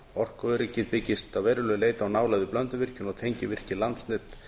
kælimöguleikum orkuöryggið byggist að verulegu leyti á nálægð við blönduvirkjun og tengivirki landsnets